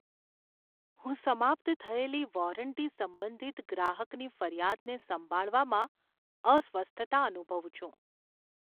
હું સમાપ્ત થયેલી વોરંટી સંબંધિત ગ્રાહકની ફરિયાદને સંભાળવામાં અસ્વસ્થતા અનુભવું છું.